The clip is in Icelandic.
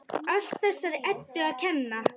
Allt þessari Eddu að kenna!